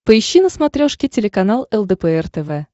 поищи на смотрешке телеканал лдпр тв